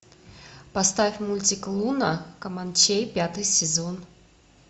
поставь мультик луна команчей пятый сезон